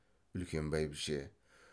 үлкен бәйбіше